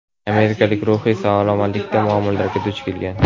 amerikalik ruhiy salomatlikda muammolarga duch kelgan.